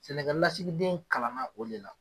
Sɛnɛkɛlasigiden kalanna o de la.